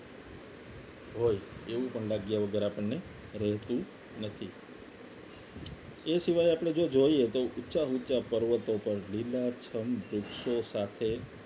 હોય એવું પણ લાગ્યા વગર આપણને રહેતું નથી એ સિવાય આપણે જો જોઈએ તો ઉચા ઊંચા પર્વતો પર લીલાછમ વૃક્ષો સાથે